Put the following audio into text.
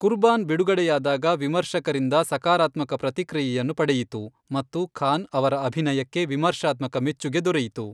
ಕುರ್ಬಾನ್ ಬಿಡುಗಡೆಯಾದಾಗ ವಿಮರ್ಶಕರಿಂದ ಸಕಾರಾತ್ಮಕ ಪ್ರತಿಕ್ರಿಯೆಯನ್ನು ಪಡೆಯಿತು, ಮತ್ತು ಖಾನ್ ಅವರ ಅಭಿನಯಕ್ಕೆ ವಿಮರ್ಶಾತ್ಮಕ ಮೆಚ್ಚುಗೆ ದೊರೆಯಿತು.